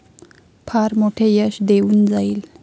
फार मोठे यश देऊन जाईल.